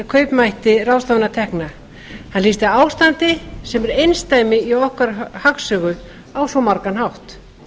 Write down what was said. kaupmætti ráðstöfunartekna hann lýsti ástandi sem er einsdæmi í okkar hagsögu á svo margan hátt